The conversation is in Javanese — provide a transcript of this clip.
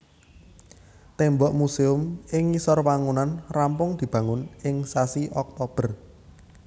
Témbok musèum ing ngisor wangunan rampung dibangun ing sasi Oktober